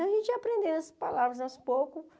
Então, a gente ia aprendendo as palavras aos poucos.